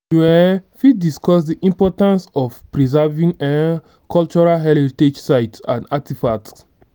you um fit discuss di importance of preserving um cultural heritage sites and artifacts.